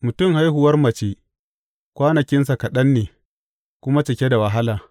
Mutum haihuwar mace kwanakinsa kaɗan ne, kuma cike da wahala.